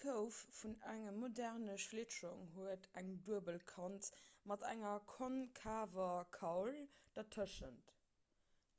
d'kouf vun engem moderne schlittschong huet eng duebel kant mat enger konkaver kaul dertëschent